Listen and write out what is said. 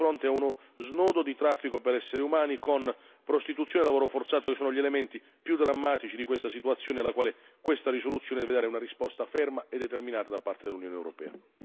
Siamo di fronte a uno snodo di traffico per esseri umani con prostituzione e lavoro forzato, che sono gli elementi più drammatici di questa situazione alla quale questa risoluzione deve dare una risposta ferma e determinata da parte dell'Unione europea.